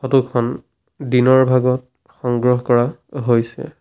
Photo খন দিনৰ ভাগত সংগ্ৰহ কৰা হৈছে।